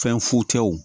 Fɛn futew